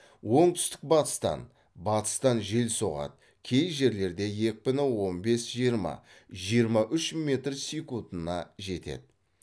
оңтүстік батыстан батыстан жел соғады кей жерлерде екпіні он бес жиырма жиырма үш метр секундына жетеді